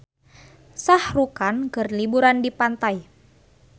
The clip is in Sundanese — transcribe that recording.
Shah Rukh Khan keur liburan di pantai